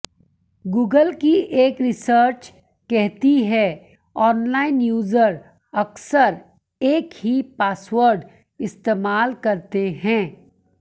Google की एक research कहती है ऑनलाइन यूजर अक्सर एक ही पासवर्ड इस्तेमाल करते हैं